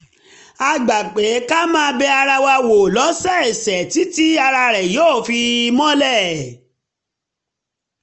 a gbà pé ká máa bẹ ara wa wò lọ́sọ̀ọ̀sẹ̀ títí tí ara rẹ̀ yóò fi mọlé